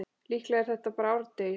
Líklega er þetta bara árdegis